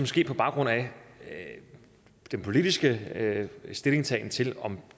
ske på baggrund af den politiske stillingtagen til om